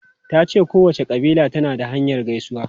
Ta ce kowace kabila tana da hanyar gaisuwa.